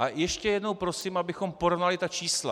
A ještě jednou prosím, abychom porovnali ta čísla.